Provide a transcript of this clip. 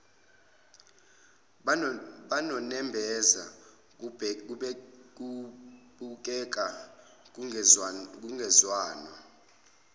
banonembeza kubukeka kungezwanwa